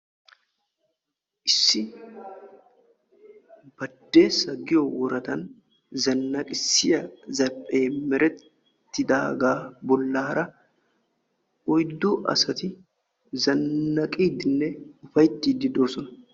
Issi badeessa giyo woradan zanaqissiya zarphphiyan oyddu asatti zanaqiddi boosonna.